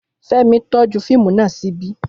Fẹ́mi tọ́jú fíìmù naa ṣíbí